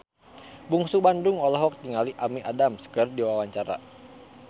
Bungsu Bandung olohok ningali Amy Adams keur diwawancara